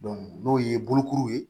n'o ye bolokuru ye